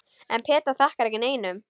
En Petra þakkar ekki neinum.